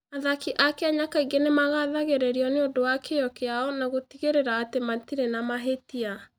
Athaki a Kenya kaingĩ nĩ magathagĩrĩrio nĩ ũndũ wa kĩyo kĩao na gũtigĩrĩra atĩ matirĩ na mahĩtia.